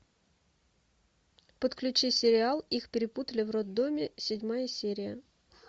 подключи сериал их перепутали в роддоме седьмая серия